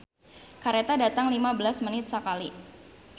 "Kareta datang lima belas menit sakali"